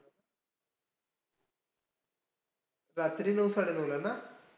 रात्री नऊ साडेनऊला ना?